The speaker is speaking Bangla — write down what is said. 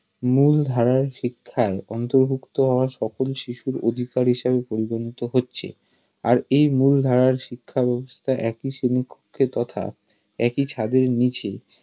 মুল্ধারার শিক্ষায় অন্তর্ভুক্ত হওয়া সকল শিশুর অধিকার হিসেবে পরিগনিত হচ্ছে আর এই মুল্ধারার শিক্ষাব্যবস্থা একই শ্রেণিকক্ষে তথা একই ছাদের নিচে